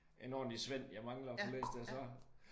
En ordentlig svend jeg mangler at få læst der så